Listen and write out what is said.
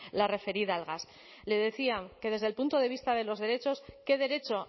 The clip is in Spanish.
la referida al gas le decía que desde el punto de vista de los derechos qué derecho